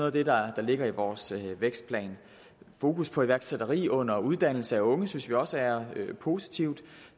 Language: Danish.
af det der ligger i vores vækstplan fokus på iværksætteri under uddannelse af unge synes vi også er positivt og